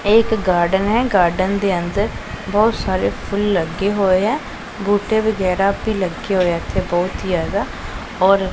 ਇਹ ਇੱਕ ਗਾਰਡਨ ਹੈ ਗਾਰਡਨ ਦੇ ਅੰਦਰ ਬਹੁਤ ਸਾਰੇ ਫੁੱਲ ਲੱਗੇ ਹੋਏ ਐ ਬੂਟੇ ਵਗੈਰਾ ਭੀ ਲੱਗੇ ਹੋਏ ਇੱਥੇ ਬਹੁਤ ਹੀ ਜਿਆਦਾ ਔਰ --